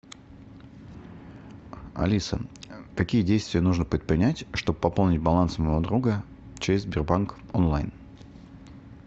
алиса какие действия нужно предпринять чтобы пополнить баланс моего друга через сбербанк онлайн